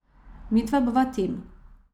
Midva bova tim.